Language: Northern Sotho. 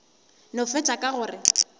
no fetša ka go re